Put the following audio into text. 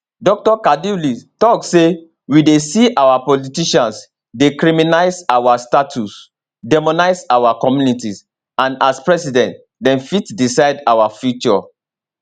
dr kaduli tok say we dey see our politicians dey criminalise our status demonise our communities and as president dem fit decide our future